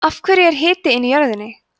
af hverju er hiti inn í jörðinni